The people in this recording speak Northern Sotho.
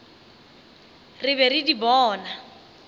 re be re di bona